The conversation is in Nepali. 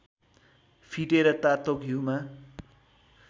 फिटेर तातो घिउमा